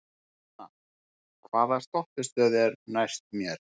Hanna, hvaða stoppistöð er næst mér?